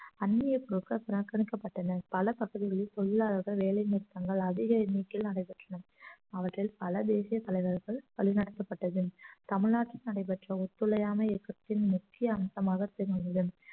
அந்நிய புறக்கணிக்கப்பட்டனர் பல பகுதிகளில் தொழிலாளர்கள் வேலை நிறுத்தங்கள் அதிக எண்ணிக்கையில் நடைபெற்றன அவற்றில் பல தேசிய தலைவர்கள் வழி நடத்தப்பட்டதில் தமிழ்நாட்டில் நடைபெற்ற ஒத்துழையாமை இயக்கத்தில் முக்கிய அம்சமாக திகழ்கிறது